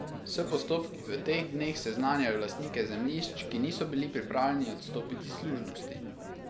S postopki v teh dneh seznanjajo lastnike zemljišč, ki niso bili pripravljeni odstopiti služnosti.